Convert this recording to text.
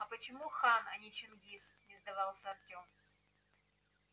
а почему хан а не чингиз не сдавался артём